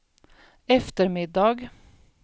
eftermiddag